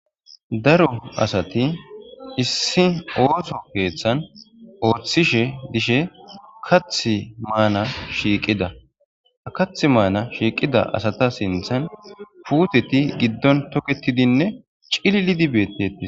Daro asati issi ootho keethan oothishe dishe kaathi maana shiiqida. Ha kaathi maana shiqida asata sinththan puuteti giddon toketidine cilillidi bettetes.